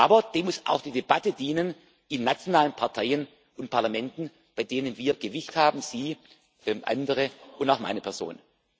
Abend. Aber dem muss auch die Debatte in nationalen Parteien und Parlamenten dienen, bei denen wir Gewicht haben Sie, andere und auch meine Person.